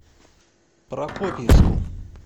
прокопьевску